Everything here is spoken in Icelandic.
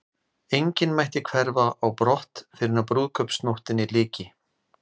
Enginn mætti hverfa á brott fyrren brúðkaupsnóttinni lyki.